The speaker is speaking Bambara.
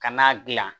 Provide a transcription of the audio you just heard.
Kan'a dilan